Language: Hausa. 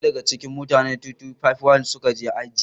Ina daya da ga cikin mutane 2251 suka je Haji.